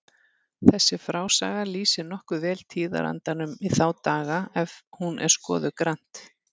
Þessi frásaga lýsir nokkuð vel tíðarandanum í þá daga ef hún er skoðuð grannt.